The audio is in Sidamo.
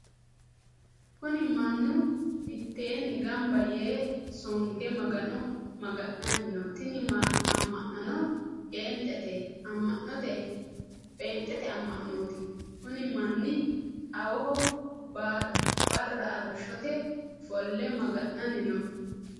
Kunni mannu miteenni gamba yee songe magano maga'nanni no. Tinni ama'nono phenxete ama'nooti. Kunni manni xawoho Barra arishote ofole maga'nanni no.